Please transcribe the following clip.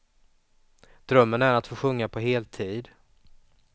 Drömmen är att få sjunga på heltid.